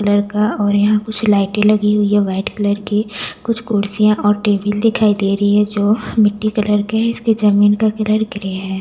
colour का और यहाँ कुछ लाइटें लगी हुई है वाइट कलर की कुछ कुर्सियाँ और टेबल दिखाई दे रही है जो मिट्टी कलर के हैं इसके जमीन का कलर ग्रे है --